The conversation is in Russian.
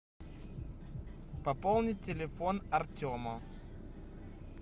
пополнить телефон артема